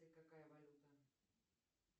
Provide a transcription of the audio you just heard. какая валюта